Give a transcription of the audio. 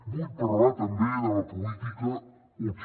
vull parlar també de la política útil